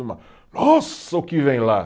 Nossa, o que vem lá?